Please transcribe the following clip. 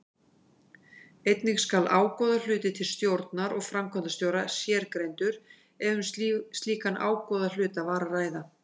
Einnig skal ágóðahluti til stjórnar og framkvæmdastjóra sérgreindur ef um slíkan ágóðahluta var að ræða.